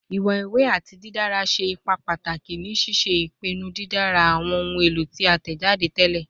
Iwọn iwe ati didara ṣe ipa pataki ni ṣiṣe ipinnu didara awọn ohun elo ti a tẹjade tẹlẹ